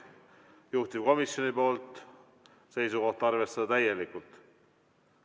Juhtivkomisjoni esitatud, seisukoht: arvestada täielikult.